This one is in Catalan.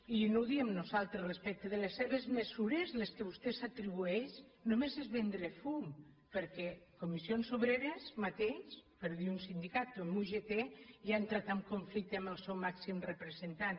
i no ho diem nosaltres respecte de les seves mesures les que vostè s’atribueix només és vendre fum perquè comissions obreres mateix per un dir sindicat o la ugt ja ha entrat en conflicte amb el seu màxim representant